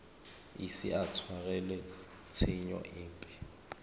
ise a tshwarelwe tshenyo epe